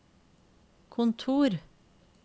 kontor